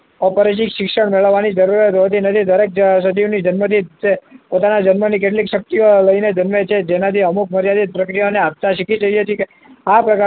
અપરિચિત શિક્ષણ મેળવવાની શરૂઆત હોતી નથી દરેક સજીવની જન્મદિઠ પોતાના જન્મની કેટલીક શક્તિઓ લઈને જન્મે છે જેનાથી અમુક મર્યાદિત પ્રક્રિયાને આપતા શીખી જઈએ છીએ કે આ પ્રકારની